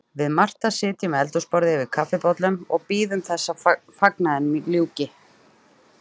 Við Marta sitjum við eldhúsborðið yfir kaffibollum og bíðum þess að fagnaðinum ljúki.